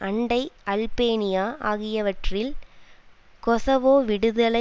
அண்டை அல்பேனியா ஆகியவற்றில் கொசவோ விடுதலை